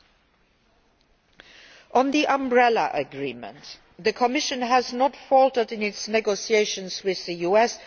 As regards the Umbrella Agreement, the Commission has not faltered in its negotiations with the US.